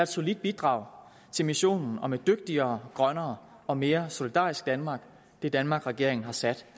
solidt bidrag til missionen om et dygtigere grønnere og mere solidarisk danmark det danmark regeringen har sat